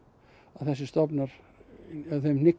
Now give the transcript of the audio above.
þessir stofnar þeim